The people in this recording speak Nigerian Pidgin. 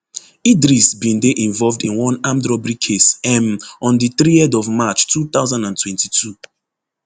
idris bin dey involved in one armed robbery case um on di threerd of march two thousand and twenty-two